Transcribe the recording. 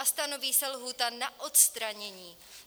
A stanoví se lhůta na odstranění.